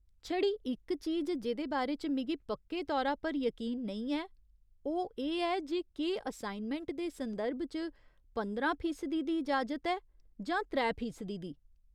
छड़ी इक चीज जेह्दे बारे च मिगी पक्के तौरा पर यकीन नेईं ऐ ओह् एह् ऐ जे केह् असाइनमैंट दे संदर्भ च पंदरां फीसदी दी इजाजत ऐ जां त्रै फीसदी दी।